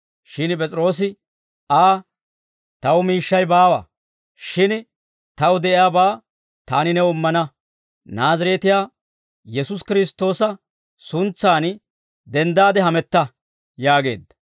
Shin P'es'iroosi Aa, «Taw miishshay baawa; shin taw de'iyaabaa taani new immana; Naazireetiyaa Yesuusi Kiristtoosa suntsan denddaade hametta» yaageedda.